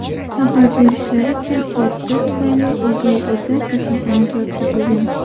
Xabar berishlaricha, hodisa tufayli o‘gay ota kasalxonaga yotqizilgan.